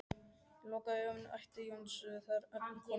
Lokaðu augunum æpti Jónsi þegar Örn kom inn í eldhúsið.